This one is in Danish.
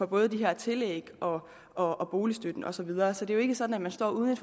både de her tillæg og og boligstøtte og så videre så det er jo ikke sådan at man står uden